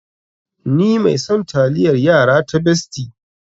Ni mai son taliayar yara ta Bestie.